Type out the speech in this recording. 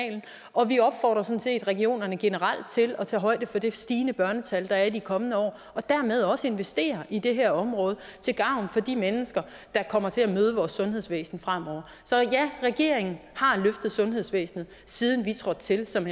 og vi opfordrer sådan set regionerne generelt til at tage højde for det stigende børnetal der er i de kommende år og dermed også investere i det her område til gavn for de mennesker der kommer til at møde vores sundhedsvæsen fremover så ja regeringen har løftet sundhedsvæsenet siden vi trådte til som